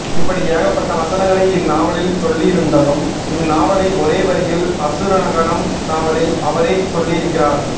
இப்படி ஏகப்பட்ட வசனங்களை இந்நாவலில் சொல்லியிருந்தலும் இந்நாவலை ஒரே வரியில் அசுரகணம் நாவலில் அவரே சொல்லியிருக்கிறார்